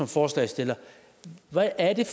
forslagsstillerne hvad er det